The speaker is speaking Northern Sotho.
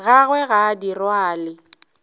gagwe ga a di rwale